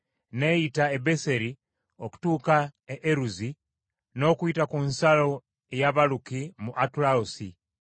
N’eyita e Beseri okutuuka e Eruzi n’okuyita ku nsalo ey’Abaluki mu Atalosi